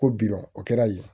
Ko bidɔn o kɛra yen